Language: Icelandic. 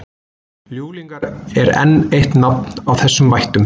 ljúflingar er enn eitt nafn á þessum vættum